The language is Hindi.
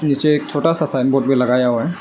नीचे एक छोटा सा साइन बोर्ड भी लगाया हुआ है।